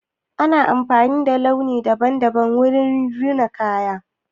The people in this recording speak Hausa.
Ana amfani da launi daban-daban wurin rina kaya.